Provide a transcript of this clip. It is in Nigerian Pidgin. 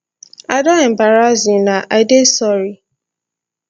i don embarrass una i dey sorry